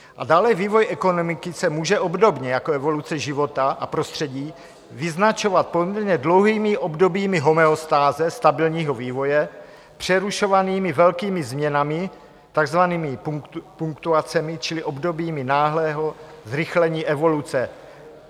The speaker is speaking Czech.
A dále vývoj ekonomiky se může obdobně jako evoluce života a prostředí vyznačovat poměrně dlouhými obdobími homeostáze, stabilního vývoje, přerušovanými velkými změnami, takzvanými punktuacemi čili obdobími náhlého zrychlení evoluce.